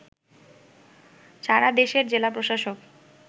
সারা দেশের জেলা প্রশাসক